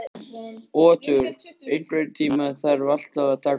Otur, einhvern tímann þarf allt að taka enda.